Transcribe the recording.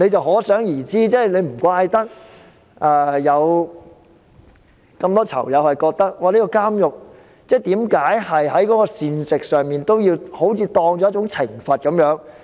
可想而知，難怪很多囚友覺得監獄的膳食是對他們的一種懲罰。